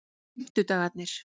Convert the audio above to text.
fimmtudagarnir